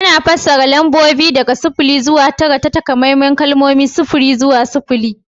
Ana fassara lambobi daga sifili zuwa tara ta takamaiman kalmomi: sifiri don sifili